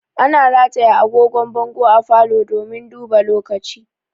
Ana rataya angogon bango a falo domin duba lokaci